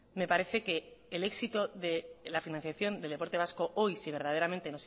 me parece que el éxito de la financiación del deporte vasco hoy si verdaderamente